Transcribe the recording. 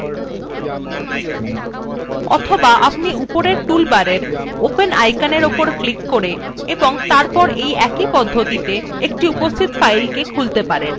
অথবা আপনি উপরের toolbar open আইকনের উপর ক্লিক করে এবং তারপর এই একই পদ্ধতিতে একটি উপস্হিত file খুলতে পারেন